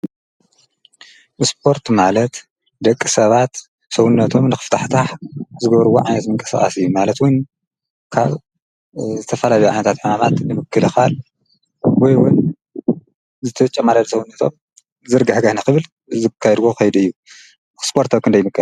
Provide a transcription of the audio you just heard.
ብስጶርት ማለት ዶኣይምንት ሰውነቶም እንኽፍታሕታሕ ዝገብርዎ ዓንዘምንቀ ሰባስእዩ ማለትውን ካብ ዝተፋላቢ ዓነታት ሕማማት ንምክልኻል ወይውን ዝተጨ ማለድ ሰውነቶም ዘርጋ ሕጋህነ ኽብል ዘካይድዎ ኸይደእዩ ኽስጶርት ኣክን ዶኣይምን።